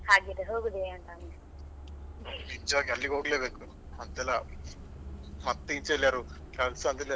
ಹಾಗಿದ್ರೆ ಹೋಗುದೇ ಅಂತ ಅಲ್ಲಿ.